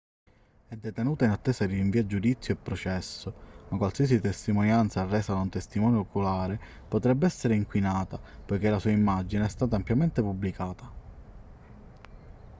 è detenuta in attesa di rinvio a giudizio e processo ma qualsiasi testimonianza resa da un testimone oculare potrebbe essere inquinata poiché la sua immagine è stata ampiamente pubblicata